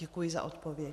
Děkuji za odpověď.